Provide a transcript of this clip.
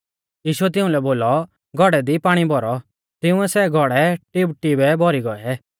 यीशुऐ तिउंलै बोलौ घौड़ै दी पाणी भौरौ तिंउऐ सै घौड़ै टिबटिबै भौरी गौऐ